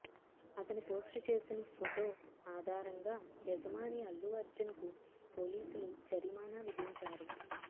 అతను పోస్టు చేసిన ఫొటో ఆధారంగా యజమాని అల్లు అర్జున్ కు పోలీసులు జరిమానా విధించారు